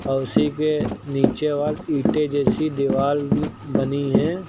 और उसी के नीचे वॉल ईंटे जैसी दीवाल बनी हैं।